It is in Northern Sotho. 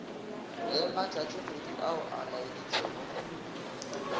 le matšatšikgwedi ao a laeditšwego